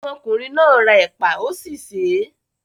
Ọmọkùnrin náà ra ẹ̀pà, ó sì sè é.